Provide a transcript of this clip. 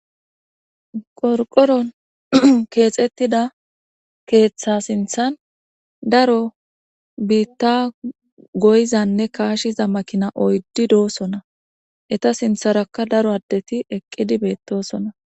Qorqqoron keexettida keetha sinthan daro biitta goyizanne kaashiza makinay oyddi doosona. Eta sintharakka daro addeti eqqidi beettoosona.